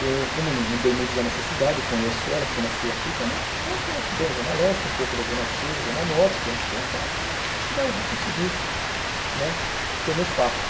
Eu, como andei muito já nessa cidade, conheço ela porque nasci aqui também, então conheço bem a Zona Leste, um pouco da Zona Sul, Zona Norte, conheço bem e tal, então acho que vai vou conseguir né ter o meu espaço.